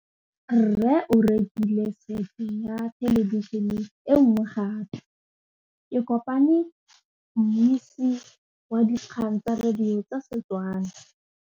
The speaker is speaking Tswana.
Rre o rekile sete ya thêlêbišênê e nngwe gape. Ke kopane mmuisi w dikgang tsa radio tsa Setswana.